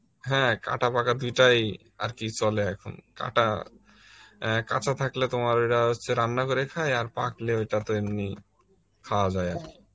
হ্যাঁ কাঁটা পাকা দুটাই চলে এখন, কাঁটা এন কাঁচা থাকলে তোমার এরা হচ্ছে রান্না করে খায় আর পাকলে ওটাতো এমনি, খাওয়া যায় আর কি